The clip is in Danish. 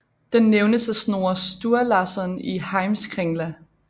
Den nævnes af Snorre Sturlasson i Heimskringla